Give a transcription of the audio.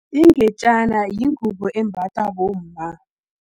Ingejana, yingubo embathwa bomma.